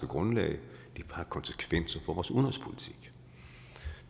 grundlag det har konsekvenser for vores udenrigspolitik